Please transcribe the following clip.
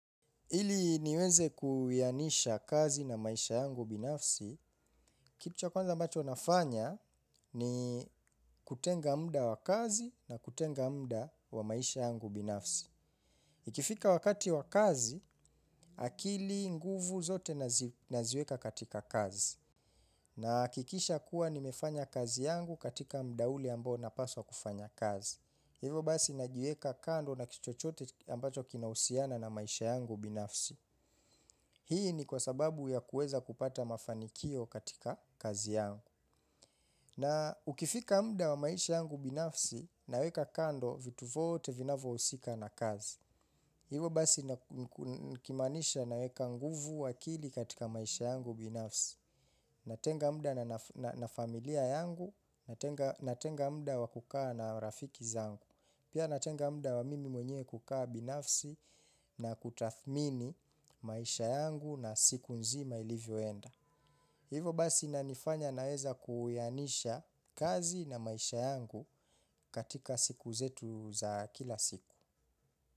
Ili niweze kuyanisha kazi na maisha yangu binafsi, kitu cha kwanza ambacho nafanya ni kutenga muda wa kazi na kutenga muda wa maisha yangu binafsi. Ikifika wakati wa kazi, akili nguvu zote naziweka katika kazi. Nahakikisha kuwa nimefanya kazi yangu katika muda ule ambao napaswa kufanya kazi. Hivo basi najieka kando na kitu chochote ambacho kinahusiana na maisha yangu binafsi. Hii ni kwa sababu ya kueza kupata mafanikio katika kazi yangu. Na ukifika muda wa maisha yangu binafsi, naweka kando vitu vote vinavo husika na kazi. Hivo basi nikimaanisha naweka nguvu akili katika maisha yangu binafsi. Natenga muda na familia yangu, natenga muda wa kukaa na rafiki zangu. Pia natenga muda wa mimi mwenyewe kukaa binafsi na kutathmini maisha yangu na siku nzima ilivyoenda. Hivo basi inanifanya naeza kuyanisha kazi na maisha yangu katika siku zetu za kila siku.